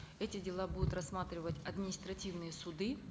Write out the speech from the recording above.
эти дела будут рассматривать административные суды